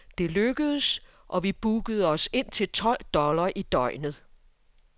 Det lykkedes, og vi bookede os ind til tolv dollar i døgnet.